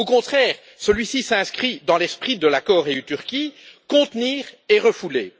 Au contraire, celui ci s'inscrit dans l'esprit de l'accord UE Turquie contenir et refouler.